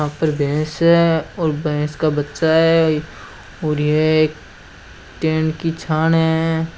वहां पर भैंस है और भैंस का बच्चा है यह एक टेंन की छान है।